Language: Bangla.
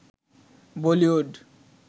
বলিউড